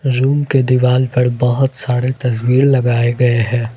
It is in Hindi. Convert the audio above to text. रूम के दीवाल पर बहुत सारे तस्वीर लगाए गए हैं।